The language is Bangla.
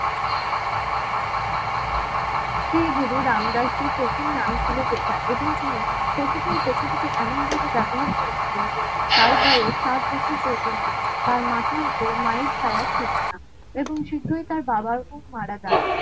শ্রী গুরু রাম দাস জীর প্রথম নাম ছিল যেথা এবং তিনি প্রকৃতির প্রকৃতিকে এমন ভাবে ব্যবহার করেছিলেন তার বয়স সাত বছর পর্যন্ত তার মাথার উপর মায়ের ছায়া ছিল না এবং শীঘ্রই তার বাবার খুব মারা যান